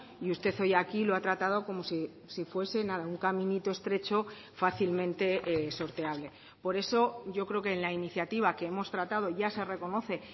y usted hoy aquí lo ha tratado como si fuese nada un caminito estrecho fácilmente sorteable por eso yo creo que en la iniciativa que hemos tratado ya se reconoce